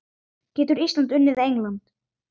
Getur Ísland unnið England?